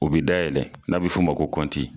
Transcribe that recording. U bɛ dayɛlɛ n'a bɛ f'o ma ko kɔnti.